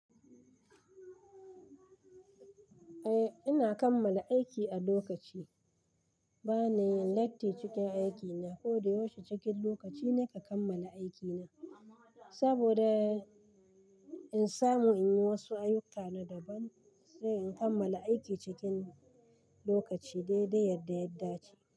Eh ina kammala aiki a lokaci. Bana yin latti cikin aikina, kodayaushe cikin lokaci ne ka kammala aikina. Saboda in samu in yi wasu ayuka na daban sai in kammala aiki cikin lokaci dai dai yadda ya dace.